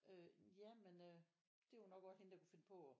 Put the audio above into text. Øh ja men øh det er jo nok også hende der kunne finde på